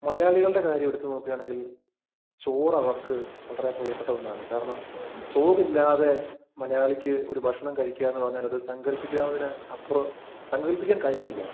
മലയാളികളുടെ കാര്യം എടുത്തു നോക്കുകയാണെങ്കില്‍ ചോറ് അവര്‍ക്ക് വളരെ പ്രിയപ്പെട്ട ഒന്നാണ്. കാരണം, ചോറില്ലാതെ മലയാളിക്ക് ഒരു ഭക്ഷണം കഴിക്കുക എന്ന് പറഞ്ഞാല് സങ്കല്‍പ്പിക്കാവുന്നതിലപ്പുറം സങ്കല്‍പ്പിക്കാന്‍ കഴിയില്ല